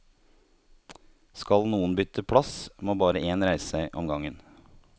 Skal noen bytte plass, må bare én reise seg om gangen.